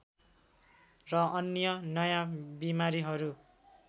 र अन्य नयाँ बिमारीहरू